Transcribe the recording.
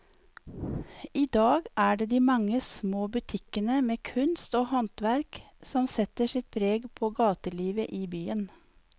I dag er det de mange små butikkene med kunst og håndverk som setter sitt preg på gatelivet i byen.